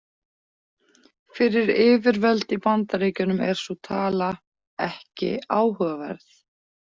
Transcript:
Fyrir yfirvöld í Bandaríkjunum er sú tala „ekki áhugaverð“.